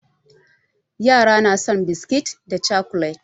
Yara na son biskit da cakulet.